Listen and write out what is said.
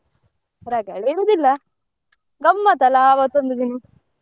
ರಗಳೆ ಇರುದಿಲ್ಲ ಗಮ್ಮತ್ ಅಲ್ಲ ಆವತ್ತೊಂದು ದಿನ.